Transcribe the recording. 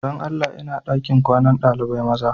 Dan Allah, ina dakin kwanan dalibain maza?